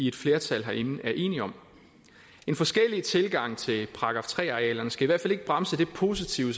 et flertal herinde er enige om forskellige tilgange til § tre arealerne skal i hvert fald ikke bremse det positive